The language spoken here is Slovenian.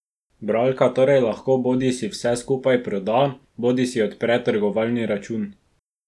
Bralka torej lahko bodisi vse skupaj proda bodisi odpre trgovalni račun.